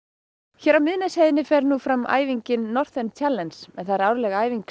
hér á Miðnesheiðinni fer nú fram æfingin Northern en það er árleg æfing